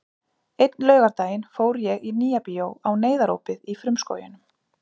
Einn laugardaginn fór ég í Nýja bíó á Neyðarópið í frumskóginum.